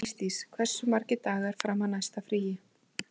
Ísdís, hversu margir dagar fram að næsta fríi?